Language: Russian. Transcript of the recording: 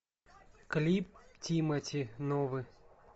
клип тимати новый